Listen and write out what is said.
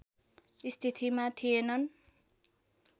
स्थितिमा थिएनन्